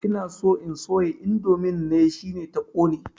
Ina so in soya indomin ne, shine ta ƙone.